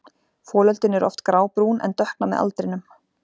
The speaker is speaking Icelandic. Folöldin eru oft grábrún en dökkna með aldrinum.